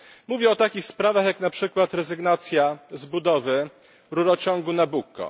Mówię o takich sprawach jak na przykład rezygnacja z budowy rurociągu Nabucco.